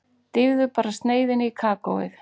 Dýfðu bara sneiðinni í kakóið.